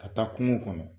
Ka taa kungo kɔnɔ